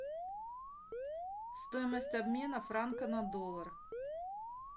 стоимость обмена франка на доллар